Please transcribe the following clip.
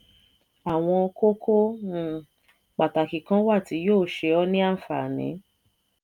àwọn kókó um pàtàkì kan wà tí yóò ṣe ọ ní ànfààní.